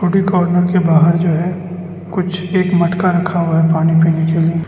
Corner के बाहर में जो है कुछ एक मटका रखा हुआ है पानी पीने के लिए।